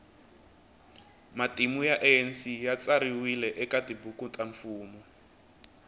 matimu ya anc yatsariwe ekatibhuku tamfumo